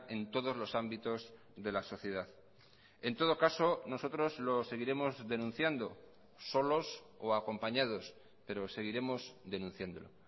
en todos los ámbitos de la sociedad en todo caso nosotros lo seguiremos denunciando solos o acompañados pero seguiremos denunciándolo